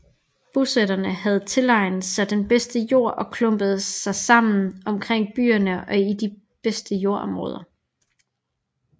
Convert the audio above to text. Bosætterne havde tilegnet sig den bedste jord og klumpede sig sammen omkring byerne og i de bedste jordområder